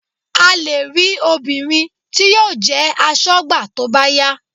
A lè rí obìnrin tí yóò jẹ́ aṣọ́gbà tó bá yá